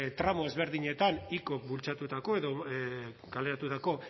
tramo ezberdinetan icok bultzatutako edo kaleratutako